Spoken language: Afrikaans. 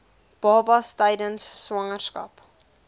babas tydens swangerskap